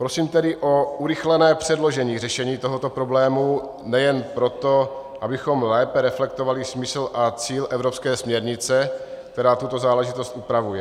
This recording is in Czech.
Prosím tedy o urychlené předložené řešení tohoto problému nejen proto, abychom lépe reflektovali smysl a cíl evropské směrnice, která tuto záležitost upravuje.